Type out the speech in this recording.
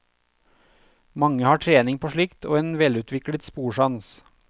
Mange har trening på slikt og en velutviklet sporsans.